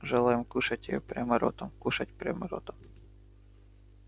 желаем кушать её прямо ротом кушай прямо ротом